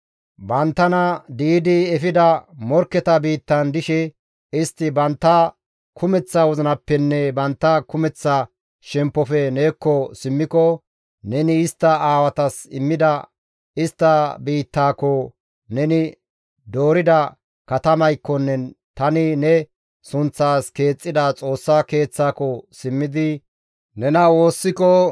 banttana di7idi efida morkketa biittan dishe istti bantta kumeththa wozinappenne bantta kumeththa shemppofe neekko simmiko, neni istta aawatas immida istta biittaako, neni doorida katamaykkonne tani ne sunththaas keexxida Xoossa Keeththaako simmidi nena woossiko,